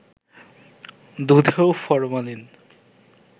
দুধেও formalin